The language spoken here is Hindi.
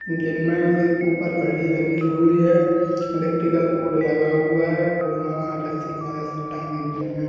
जिनमें एक ऊपर घड़ी लगी हुयी है | इलेक्ट्रिकल बोर्ड लगा हुआ है | फूल माला रस्सी की मदद से टंगी हई हैं।